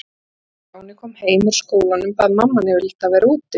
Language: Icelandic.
Þegar Stjáni kom heim úr skólanum bað mamma hann yfirleitt að vera úti með